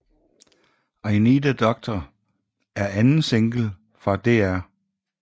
I Need A Doctor er anden single fra Dr